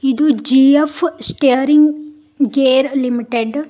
ಇದು GF steering gear limited .